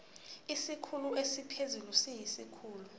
isikhulu esiphezulu siyisikhulu